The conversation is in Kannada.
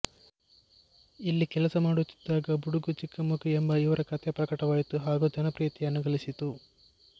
ಇಲ್ಲಿ ಕೆಲಸ ಮಾಡುತ್ತಿದ್ದಾಗ ಬುಡುಗು ಚಿಕ್ಕ ಮಗು ಎಂಬ ಇವರ ಕಥೆ ಪ್ರಕಟವಾಯಿತು ಹಾಗೂ ಜನಪ್ರಿಯತೆಯನ್ನು ಗಳಿಸಿತು